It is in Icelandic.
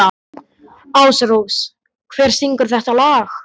Ásrós, hver syngur þetta lag?